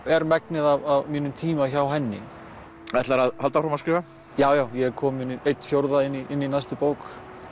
er megnið af mínum tíma hjá henni ætlarðu að halda áfram að skrifa já já ég er kominn einn fjórði inn í næstu bók